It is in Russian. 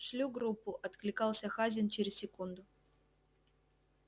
шлю группу откликался хазин через секунду